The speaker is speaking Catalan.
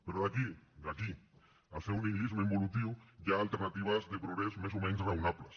però d’aquí d’aquí al seu nihilisme involutiu hi ha alternatives de progrés més o menys raonables